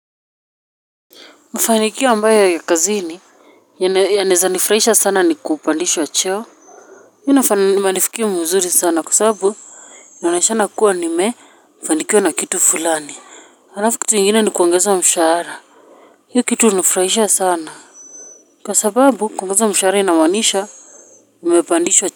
Mfanikio ambayo ya kazini yanezanifrahisha sana ni kupandishwa cheo minafanifikia mwuzuri sana kusabu ya naishana kuwa ni me mfanikia na kitu fulani harafu kitu ingine ni kuongezwa mshara hi kitu nifrahisha sana kwa sababu kuongeza mshara inamaanisha mimepandishwa cheo.